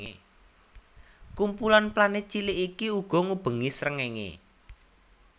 Kumpulan planet cilik iki uga ngubengi srengenge